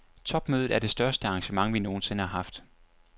Topmødet er det største arrangement, vi nogen sinde har haft.